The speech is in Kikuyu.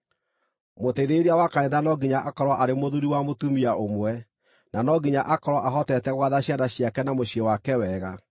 Mũteithĩrĩria wa kanitha no nginya akorwo arĩ mũthuuri wa mũtumia ũmwe, na no nginya akorwo ahotete gwatha ciana ciake na mũciĩ wake wega.